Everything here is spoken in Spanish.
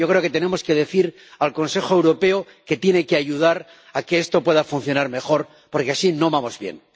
Yo creo que tenemos que decir al Consejo Europeo que tiene que ayudar a que esto pueda funcionar mejor, porque así no vamos bien.